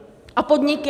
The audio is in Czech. A podniky?